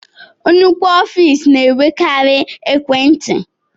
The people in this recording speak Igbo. Nnukwu ọfiisi na-enwekari ekwentị.